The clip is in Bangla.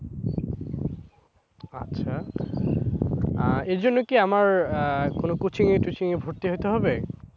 আচ্ছা। আহ এর জন্য কি আমার আহ কোন coaching এ টচিঙে ভর্তি হতে হবে?